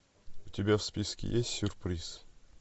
у тебя в списке есть сюрприз